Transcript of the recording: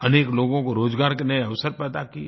अनेक लोगों को रोज़गार के नये अवसर पैदा किये